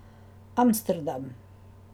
Amsterdam.